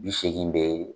Bi seegin de